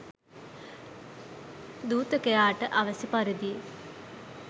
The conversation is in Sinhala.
දුතකයාට අවැසි පරිදි